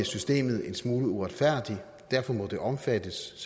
systemet en smule uretfærdigt og derfor må de omfattes